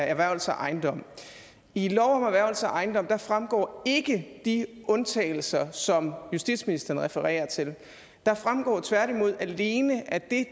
erhvervelse af ejendom i loven om erhvervelse af ejendom fremgår ikke de undtagelser som justitsministeren refererer til der fremgår tværtimod alene at det